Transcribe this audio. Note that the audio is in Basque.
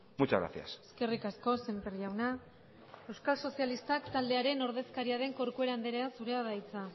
muchas gracias eskerrik asko sémper jauna euskal sozialistak taldearen ordezkaria den corcuera andrea zurea da hitza